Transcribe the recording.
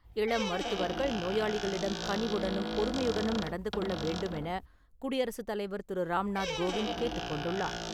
இளம் மருத்துவர்கள் நோயாளிகளிடம் கனிவுடனும் பொறுமையுடனும் நடந்து கொள்ள வேண்டுமென குடியரசு தலைவர் திரு ராம்நாத் கோவிந்த் கேட்டுக் கொண்டுள்ளார்.